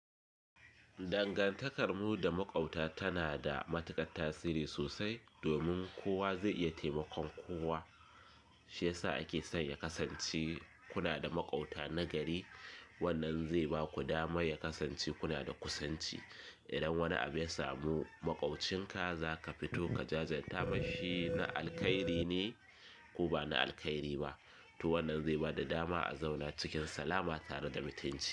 Dangantakarmu da maƙwabta tana da matuƙar tasiri sosai domin kowa zai iya taimakon kowa. Shi ya sa ake son ya kasance kuna da maƙwabta nagari. Wannan zai ba ku dama ya kasance kuna da kusanci. Idan wani abu ya samu maƙwabcinka, za ka fito ka jajan ta. Mashin na alkhairi ne ko ba na alkhairi ba. To wannan zai ba da dama a zauna cikin salama tare da mutunci.